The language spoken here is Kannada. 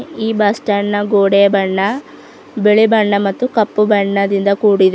ಈ ಬಸ್ ಸ್ಟಾಂಡ್ ನ ಗೋಡೆ ಬಣ್ಣ ಬಿಳಿ ಬಣ್ಣ ಮತ್ತು ಕಪ್ಪು ಬಣ್ಣದಿಂದ ಕೂಡಿದೆ.